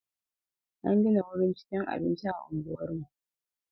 An gina wurin cikin abinci a unguwarmu.